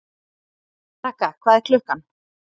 Ragga, hvað er klukkan?